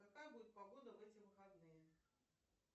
какая будет погода в эти выходные